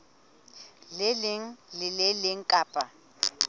leng le le leng kapa